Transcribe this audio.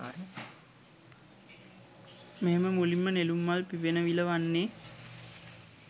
මෙහෙම මුලින්ම නෙළුම් මල් පිපෙන විල වන්නේ